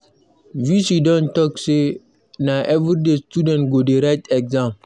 V.C don talk say na everyday students go dey write exam